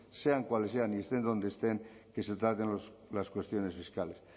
sean cuales sean y estén donde estén que se traten las cuestiones fiscales